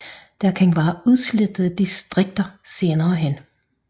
Der kan være udslettede distrikter senere hen